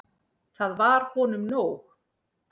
Það var honum nóg.